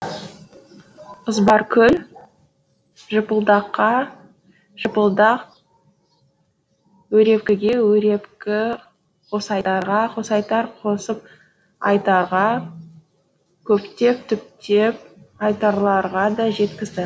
ызбаркүл жыпылдаққа жыпылдақ өрепкіге өрепкі қосайтарға қосайтар қосып айтарға көптеп түптеп айтарларға да жеткізді